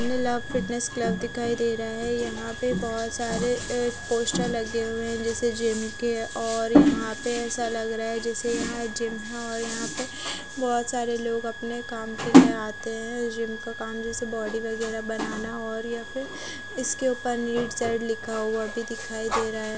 Neelabh fitness club दिखाई दे रहा है यहां पे बहुत सारे ए पोस्टर लगे हुए हैं जैसे जिम के और यहां पे ऐसा लग रहा है जैसे यहां जिम है और यहां पे बहोत सारे लोग अपने काम करने आते हैं जिम का काम जैसे बॉडी वगैरह बनाना और या फिर इसके ऊपर नीट साइड लिखा हुआ भी दिखाई दे रहा है।